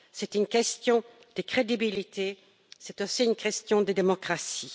C'est une question de crédibilité, c'est aussi une question de démocratie.